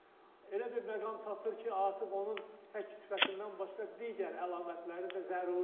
Elə bir məqam çatır ki, artıq onun tək sifətindən başqa digər əlamətləri də zəruri olur.